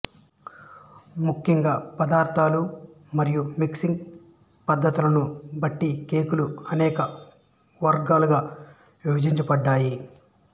ముఖ్యంగా పదార్థాలు మరియు మిక్సింగ్ పద్ధతులను బట్టి కేకులు అనేక వర్గాలుగా విభజించబడ్డాయి